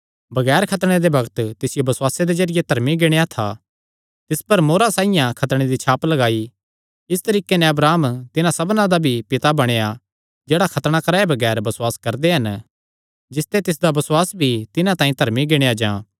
बगैर खतणे दे बग्त तिसियो बसुआसे दे जरिये धर्मी गिणेया था तिस पर मोहरां साइआं खतणे दी छाप लगाई इस तरीके नैं अब्राहम तिन्हां सबना दा भी पिता बणेया जेह्ड़े खतणा कराये बगैर बसुआस करदे हन जिसते तिसदा बसुआस भी तिन्हां तांई धर्मी गिणेया जां